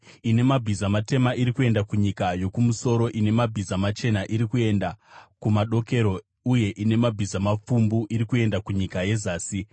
Ine mabhiza matema iri kuenda kunyika yokumusoro, ine mabhiza machena iri kuenda kumadokero, uye ine mabhiza mapfumbu iri kuenda kunyika yezasi.”